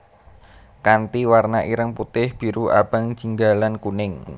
Kanthi warna ireng putih biru abang jingga lan kuning